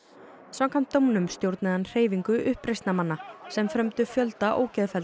samkvæmt dómnum stjórnaði hann hreyfingu uppreisnarmanna sem frömdu fjölda